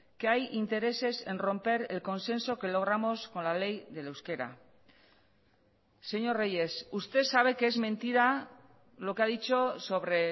que hay intereses en romper el consenso que logramos con la ley del euskera señor reyes usted sabe que es mentira lo que ha dicho sobre